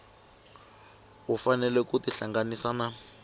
u fanele ku tihlanganisa na